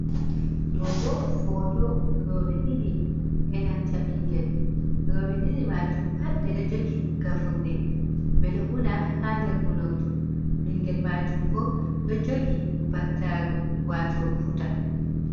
Ɗo bi foto rooɓe ɗiɗi be nanta ɓingel, rooɓe ɗiɗi majum pat ɓe ɗo jogi gafurɗi, ɓe ɗo una ha bder unordu, ɓingel majum bo ɗo jogi battaru wato buta.